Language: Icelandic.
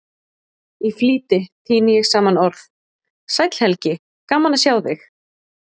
Í flýti tíni ég saman orð: Sæll Helgi, gaman að sjá þig